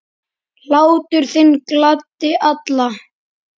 Hlátur þinn gladdi alla.